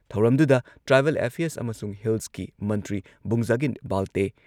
ꯊꯧꯔꯝꯗꯨꯗ tribal affairs ꯑꯃꯁꯨꯡ ꯍꯤꯜꯁꯀꯤ ꯃꯟꯇ꯭ꯔꯤ ꯕꯨꯡꯖꯥꯒꯤꯟ ꯕꯥꯜꯇꯦ